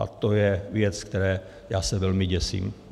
A to je věc, které já se velmi děsím.